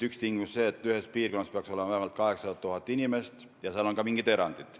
Üks tingimus on see, et ühes tsoonis peaks olema vähemalt 800 000 inimest, ja seal on ka mingid erandid.